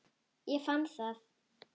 Ég fann það!